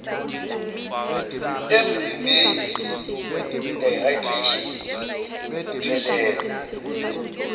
emzimbeni dehydration ukuphelelwa